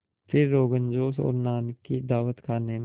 फिर रोग़नजोश और नान की दावत खाने में